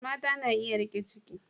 Mata na iya riƙe ciki.